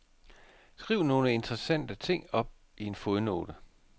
Skriv nogle interessante ting i en fodnote.